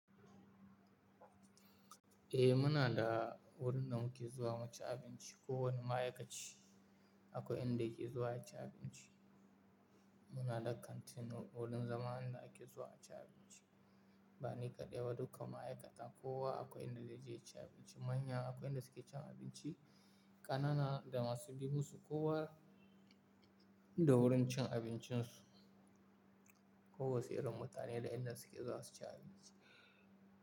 Eh muna da wurin da muke zuwa mu ci abinci. Ko wani ma'aikaci akwai inda yake zuwa ya ci abinci. Muna da kantin wurin zama inda ake zuwa a ci abinci. Ba ni kaɗai ba, duka ma'aikata kowa akwai inda zai je ya ci abinci. Manya akwai inda suke cin abinci, ƙanana da masu bi musu kowa da wurin cin abincin su. Ko wasu irin mutane da inda suke zuwa su ci abinci.